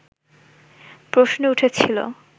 প্রশ্ন উঠেছিল